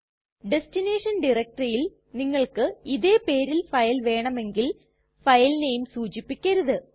destination ടയരക്റ്റെറിയിൽ നിങ്ങൾക്ക് ഇതേ പേരിൽ ഫയൽ വേണമെങ്കിൽ ഫയൽ നെയിം സൂചിപ്പിക്കരുത്